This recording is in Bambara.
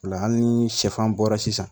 O la hali ni sɛfan bɔra sisan